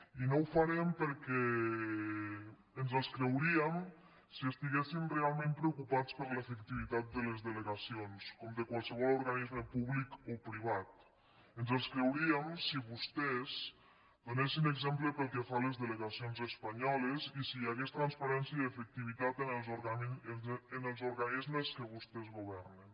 i no ho farem perquè ens els creuríem si estiguessin realment preocupats per l’efectivitat de les delegacions com de qualsevol organisme públic o privat ens els creuríem si vostès donessin exemple pel que fa a les delegacions espanyoles i si hi hagués transparència i efectivitat en els organismes que vostès governen